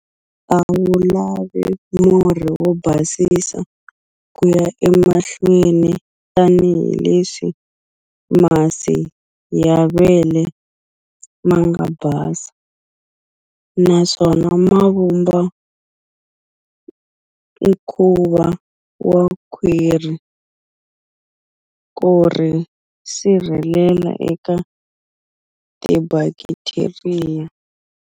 A wu lavi murhi wo basisa ku ya emahlweni tanihileswi masi ya vele ma nga basa, naswona ma vumba nkuva wa khwiri, ku ri sirhelela eka tibakitheriya.